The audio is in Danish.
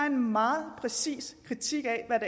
en meget præcis kritik af hvad